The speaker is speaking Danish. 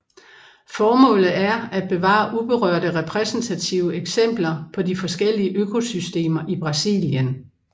Formålet er at bevare uberørte repræsentative eksempler på de forskellige økosystemer i Brasilien